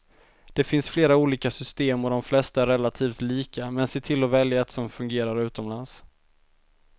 Det finns flera olika system och de flesta är relativt lika, men se till att välja ett som fungerar utomlands.